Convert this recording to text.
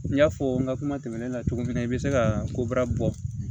N y'a fɔ n ka kuma tɛmɛnen na cogo min na i bɛ se ka koba bɔ